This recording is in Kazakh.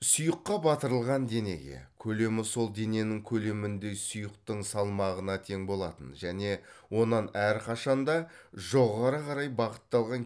сұйыққа батырылған денеге көлемі сол дененің көлеміндей сұйықтың салмағына тең болатын және онан әрқашан да жоғары қарай бағытталған